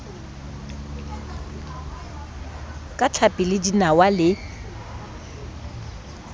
ka tlhapi le dinawa le